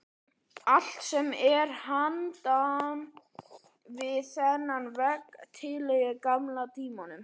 Allt sem er handan við þennan vegg tilheyrir gamla tímanum.